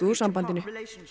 úr sambandinu